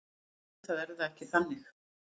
Auðvitað er það ekki þannig.